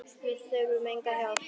Við þurfum enga hjálp.